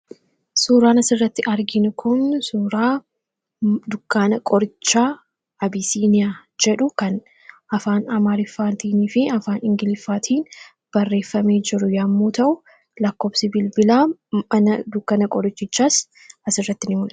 Suuraan asirratti arginu kun suuraa dukkaana qorichaa Abisiiniyaa jedhudha. Maqaan dukkaanichis Afaan Amaaraa fi Ingiliziin barreeffamee jiru yoo ta'u, Lakkoofsi bilbilaas barreeffamee argama.